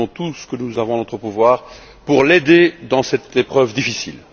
Faisons tout ce que nous avons en notre pouvoir pour l'aider dans cette épreuve difficile.